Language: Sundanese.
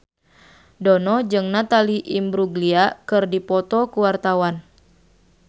Dono jeung Natalie Imbruglia keur dipoto ku wartawan